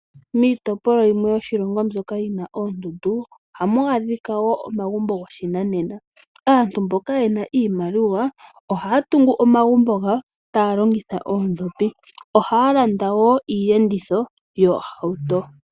Miitopolwa yimwe yoshilongo mbyoka yina oondundu, ohamu adhika woo omagumbo goshinanena, aantu mboka yena iimaliwa ohaya tungu omamgumbo gawo taya longitha oondhopi, ohaya landa woo iiyenditho yoohauto.